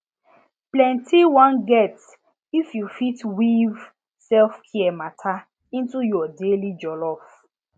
plenty wan get if you fit weave selfcare matter into your daily jollof